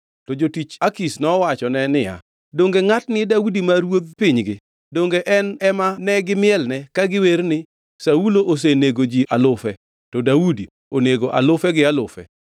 To jotich Akish nowachone niya, “Donge ngʼatni e Daudi ma ruodh pinygi? Donge en ema gimielne ka giwer ni: “ ‘Saulo osenego ji alufe, to Daudi onego alufe gi alufe’?”